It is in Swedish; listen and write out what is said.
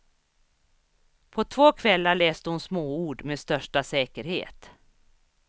På två kvällar läste hon småord med största säkerhet.